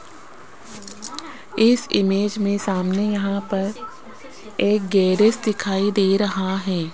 इस इमेज में सामने यहां पर एक गैरेज दिखाई दे रहा है।